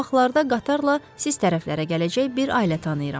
Yaxın vaxtlarda qatarla siz tərəflərə gələcək bir ailə tanıyıram.